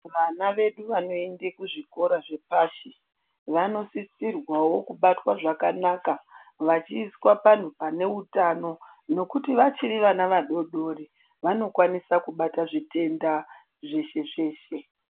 Vanavedu vanoende kuzvikora zvepashi vanosisirwawo kubatwa zvakanaka vachiiswa panhu pane utano nekuti vachiri vadodorri vanokwanisa kubata zvitenda zveshezveshe.